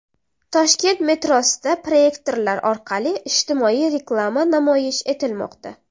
Toshkent metrosida proyektorlar orqali ijtimoiy reklama namoyish etilmoqda.